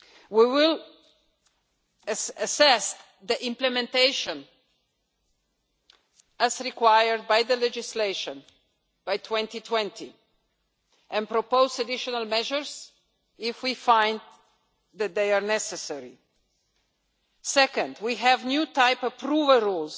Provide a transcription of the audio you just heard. We will assess the implementation, as required by the legislation, by 2020 and propose additional measures if we find that they are necessary. Secondly, we have new type approval